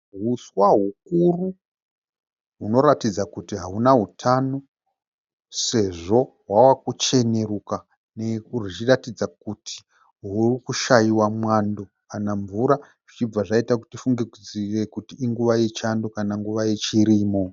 Huswa hukuru hunoratidza kuti hauna hutano sezvo hwava kucheneruka, huchiratidza kuti hwuri kushaiwa mwando kana mvura zvichibva zvaita kuti tifunge kuti inguva yechando kana nguva yechirimo.